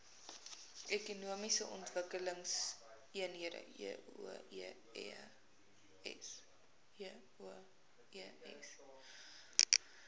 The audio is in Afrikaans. ekonomiese ontwikkelingseenhede eoes